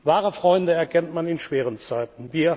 Wahre Freunde erkennt man in schweren Zeiten.